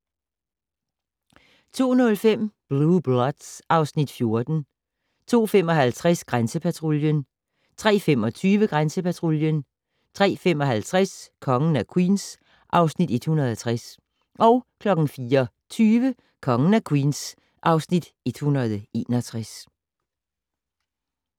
02:05: Blue Bloods (Afs. 14) 02:55: Grænsepatruljen 03:25: Grænsepatruljen 03:55: Kongen af Queens (Afs. 160) 04:20: Kongen af Queens (Afs. 161)